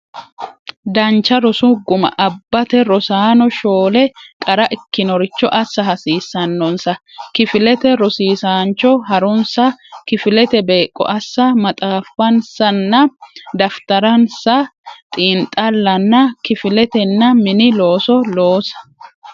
Dancha rosu guma abbate rosaano shoole qara ikkinoricho assa hasiissannonsa kifilete rosiisaancho ha runsa kifilete beeqqo assa maxaaffansanna daftaransa xiinxallanna kifiletenna mini looso loosa.